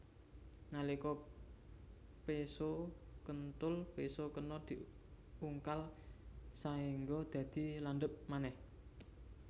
Nalika péso kethul péso kena diungkal saéngga dadi landhep manèh